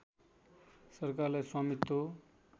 सरकारलाई स्वामित्व